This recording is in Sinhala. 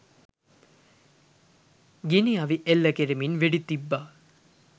ගිනි අවිඑල්ල කරමින් වෙඩි තිබ්බා